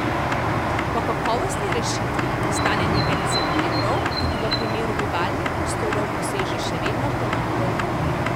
Po kakovostni rešitvi, ki stane nekaj deset evrov, tudi v primeru bivalnih prostorov poseže še vedno premalo ljudi.